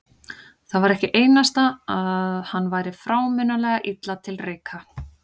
Það var ekki einasta að hann væri frámunalega illa til reika.